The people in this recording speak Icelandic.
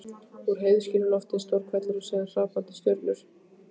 Úr heiðskíru lofti: stór hvellur og síðan hrapandi stjörnur.